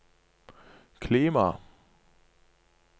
klima